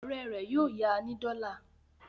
Ọ̀rẹ́ rẹ̀ yóò ya ní dọ́là.